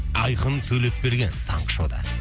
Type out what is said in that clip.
айқын төлепберген таңғы шоуда